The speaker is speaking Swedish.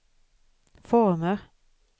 former